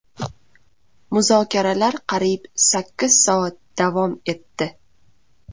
Muzokaralar qariyb sakkiz soat davom etdi.